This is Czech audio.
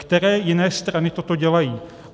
Které jiné strany toto dělají?